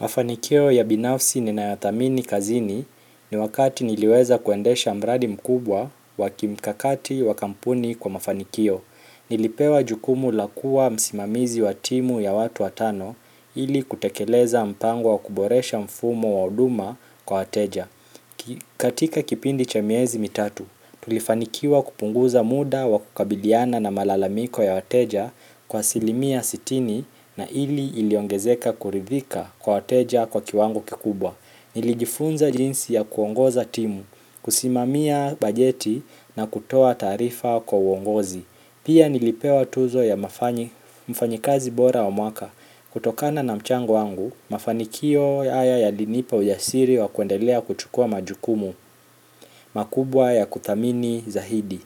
Mafanikio ya binafsi ninayadhamini kazini ni wakati niliweza kuendesha mradi mkubwa wa kimkakati wa kampuni kwa mafanikio. Nilipewa jukumu la kuwa msimamizi wa timu ya watu watano ili kutekeleza mpango wa kuboresha mfumo wa huduma kwa wateja. Katika kipindi cha miezi mitatu, tulifanikiwa kupunguza muda wa kukabiliana na malalamiko ya wateja kwa asilimia sitini na hili iliongezeka kuridhika kwa wateja kwa kiwango kikubwa. Nilijifunza jinsi ya kuongoza timu, kusimamia bajeti na kutoa taarifa kwa uongozi. Pia nilipewa tuzo ya mfanyikazi bora wa mwaka kutokana na mchango wangu, mafanikio haya yalinipa ujasiri wa kuendelea kuchukua majukumu makubwa ya kuthamini zaidi.